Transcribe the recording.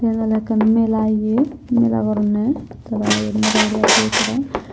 eben oley ekkan mela ye mela goronney tara yot mela goribattey tara.